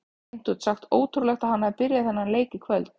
Hreint út sagt ótrúlegt að hann hafi byrjað þennan leik í kvöld.